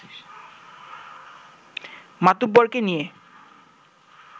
মাতুব্বরকে নিয়ে